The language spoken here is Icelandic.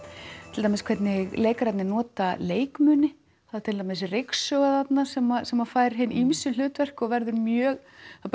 til dæmis hvernig leikararnir nota leikmuni það er til dæmis ryksuga þarna sem sem að fær hin ýmsu hlutverk og verður mjög